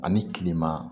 Ani kilema